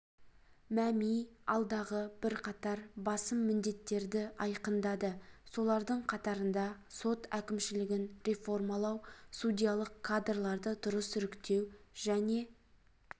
мәми алдағы бірқатар басым міндеттерді айқындады солардың қатарында сот әкімшілігін реформалау судьялық кадрларды дұрыс іріктеу және